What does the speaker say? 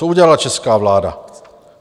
Co udělala česká vláda?